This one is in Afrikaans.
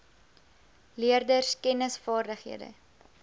leerders kennis vaardighede